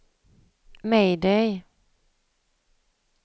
mayday